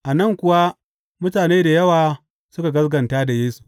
A nan kuwa mutane da yawa suka gaskata da Yesu.